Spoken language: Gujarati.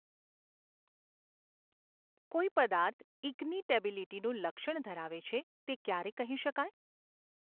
કોઈ પદાર્થ ઇગ્નિટેબીલિટીનું લક્ષણ ધરાવે છે તે ક્યારે કહી શકાય?